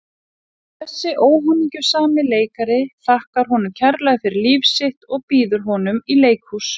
Og þessi óhamingjusami leikari þakkar honum kærlega fyrir líf sitt og býður honum í leikhús.